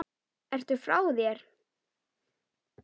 Ertu frá þér??